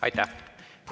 Aitäh!